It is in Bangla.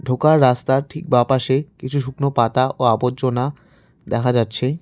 ঢোকার রাস্তার ঠিক বাঁ পাশে কিছু শুকনো পাতা ও আবর্জনা দেখা যাচ্ছে।